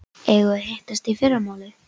Eigum við að hittast í fyrramálið?